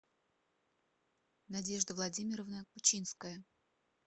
надежда владимировна кучинская